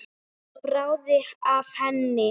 Svo bráði af henni.